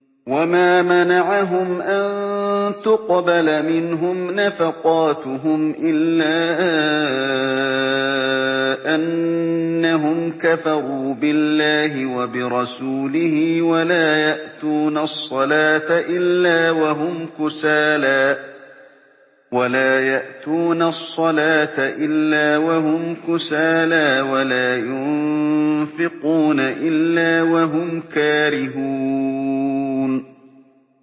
وَمَا مَنَعَهُمْ أَن تُقْبَلَ مِنْهُمْ نَفَقَاتُهُمْ إِلَّا أَنَّهُمْ كَفَرُوا بِاللَّهِ وَبِرَسُولِهِ وَلَا يَأْتُونَ الصَّلَاةَ إِلَّا وَهُمْ كُسَالَىٰ وَلَا يُنفِقُونَ إِلَّا وَهُمْ كَارِهُونَ